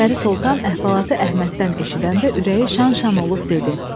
Pəri Soltan əhvalatı Əhməddən eşidəndə ürəyi şan-şan olub dedi: